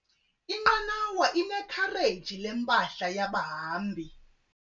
Inqanawa inekhareji lempahla yabahambi.